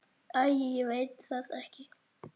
Æi ég veit það ekki.